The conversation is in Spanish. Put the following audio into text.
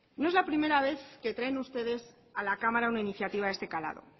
no es la primera vez que traen ustedes a la cámara una iniciativa de este calado